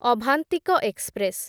Avantika express